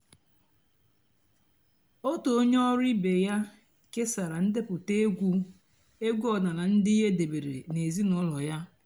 ótú ónyé ọ̀rụ́ ìbé yá késàrà ǹdèpụ́tá ègwú ègwú ọ̀dị́náàlà ndị́ é dèbèré n'èzínụ́lọ́ yá.